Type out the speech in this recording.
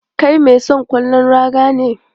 Kai mai son ƙwallon raga ne?